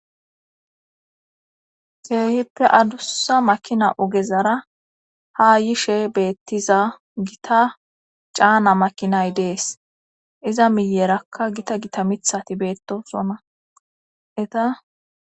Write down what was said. seehippe adussa makina ogezara ha yishe beettiza gita caana makinay dees iza miyerakka gita gita mithati beettosonna eta